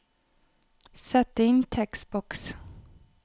Sett inn tekstboks